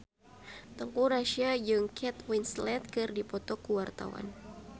Teuku Rassya jeung Kate Winslet keur dipoto ku wartawan